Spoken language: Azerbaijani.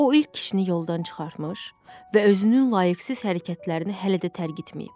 O ilk kişini yoldan çıxartmış və özünün layiqsiz hərəkətlərini hələ də tərk etməyib.